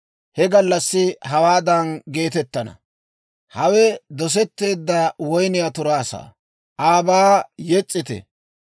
He gallassi hawaadan geetettana; «Hawe dosetteedda woyniyaa turaa saa; aabaa yes's'ite!